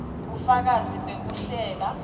bufakazi bekuhlela